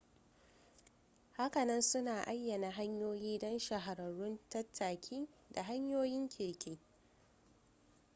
hakanan suna ayyana hanyoyi don shahararrun tattaki da hanyoyin keke